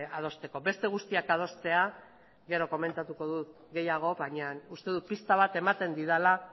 adosteko beste guztiak adostea gero komentatuko dut gehiago baina uste dut pista bat ematen didala